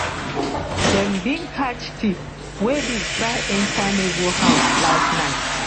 dem bin catch thief wey bin try enter neighbour house last night